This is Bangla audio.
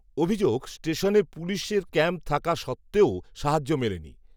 অভিযোগ, স্টেশনে পুলিশের ক্যাম্প থাকা সত্ত্বেও, সাহায্য মেলেনি